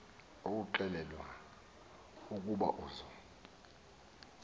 exelelwa ukuba uza